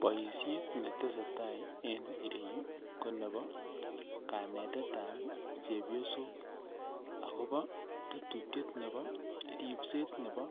Boisiet netesetai en iyeu ko nebo kanetetab chepyosok agobo tetutiet nebo ripset nebo